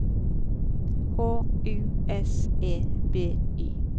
H U S E B Y